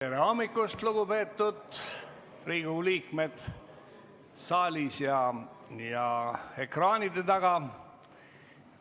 Tere hommikust, lugupeetud Riigikogu liikmed saalis ja ekraanide taga!